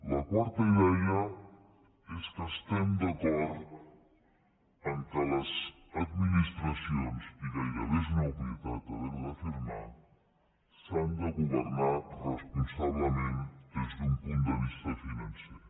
la quarta idea és que estem d’acord que les administracions i gairebé és una obvietat haver ho d’afirmar s’han de governar responsablement des d’un punt de vista financer